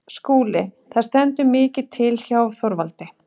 SKÚLI: Það stendur mikið til hjá Þorvaldi.